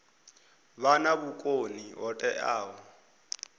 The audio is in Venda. vha na vhukoni ho teaho